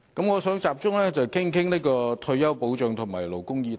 我想集中談談退休保障及勞工議題。